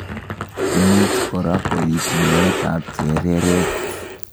Imuch kora koib meetab chereret.